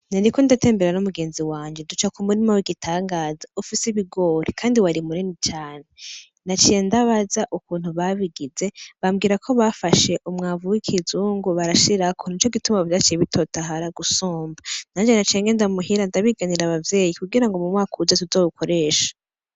Nariko ndatembera n' umugenzi wanje duca kumurima w' igitangaza ufise ibigori kandi wari munini cane, naciye ndababaza ukuntu babigize bambwira ko bafashe umwavu w' ikizungu barashirako nico gituma vyaciye bitotahara gusumba, nanje naciye ngenda muhira ndabiganira abavyeyi kugira ngo mumwaka uza tuzowukoreshe.